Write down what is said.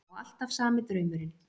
Og alltaf sami draumurinn.